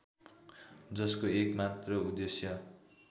जसको एकमात्र उद्देश्य